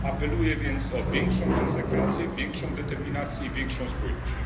Apeluję więc o większą konsekwencję, większą determinację, większą spójność.